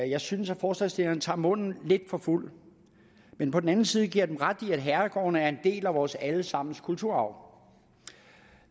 jeg synes at forslagsstillerne tager munden lidt for fuld men på den anden side giver jeg dem ret i at herregårdene er en del af vores alle sammens kulturarv